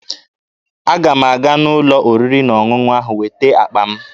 Aga m aga n'ụlọ oriri na ọṅụṅụ ahụ weta akpa m